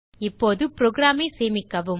இப்போது programஐ சேமிக்கவும்